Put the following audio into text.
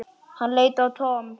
Hann leit á Tom.